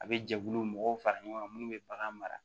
A bɛ jɛkulu mɔgɔw fara ɲɔgɔn kan minnu bɛ bagan mara